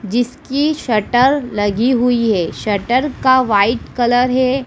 जिसकी शटर लगी हुई है शटर का वाइट कलर है।